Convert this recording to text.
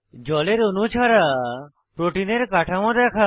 জলের অণু ছাড়া প্রোটিনের কাঠামো দেখা